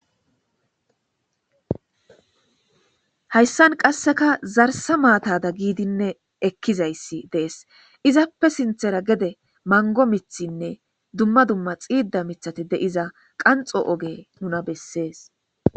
Haysan qaseka zarsa matada gidine ekizayis de'es izappe sinthera gede mango mithinne duma duma xida mithati de'iza qanxo oge nuna beses.